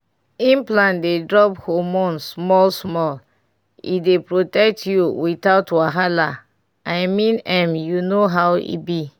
implant dey drop hormone small-small — e dey protect you without wahala. i mean m u know how e b